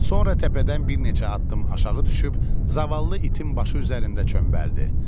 Sonra təpədən bir neçə addım aşağı düşüb, zavallı itin başı üzərində çömbəldi.